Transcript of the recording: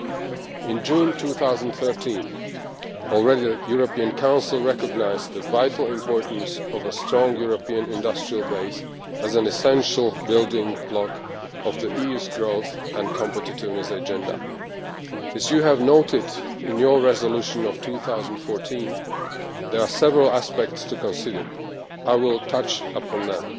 Back in June 2013 the European Council recognised the vital importance of a strong European industrial base as an essential building block of the EU's growth and competitiveness agenda. As you noted in your resolution of 2014, there are several aspects to consider, and I will touch upon them.